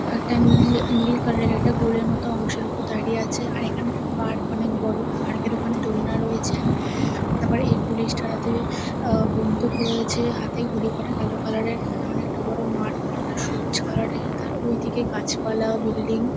একটা নীল নীল কালার -এর একটা গোলের মতো অংশের উপর দাঁড়িয়ে আছে। আর এখানে একটা পার্ক অনেক বড় পার্ক -এর ওখানে দোলনা রয়েছে । তারপর এই পুলিশ -টার হাতে আহ বন্দুক রয়েছে। হাতে ঘড়ি পড়া কালো কালার -এর এখানে অনেকটা বড় মাঠ মাঠটা সবুজ কালার -এর তার ওইদিকে গাছপালা ও বিল্ডিং ।